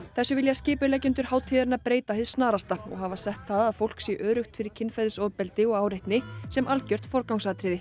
þessu vilja skipuleggjendur hátíðarinnar breyta hið snarasta og hafa sett það að fólk sé öruggt fyrir kynferðisofbeldi og áreitni sem algjört forgangsatriði